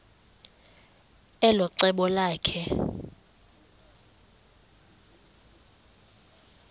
elo cebo lakhe